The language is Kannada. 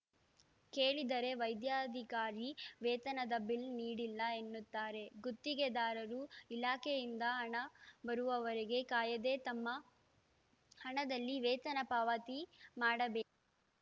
ಕೇಳಿದರೆ ವೈದ್ಯಾಧಿಕಾರಿ ವೇತನದ ಬಿಲ್‌ ನೀಡಿಲ್ಲ ಎನ್ನುತ್ತಾರೆ ಗುತ್ತಿಗೆದಾರರು ಇಲಾಖೆಯಿಂದ ಹಣ ಬರುವವರೆಗೆ ಕಾಯದೇ ತಮ್ಮ ಹಣದಲ್ಲಿ ವೇತನ ಪಾವತಿ ಮಾಡಬೇ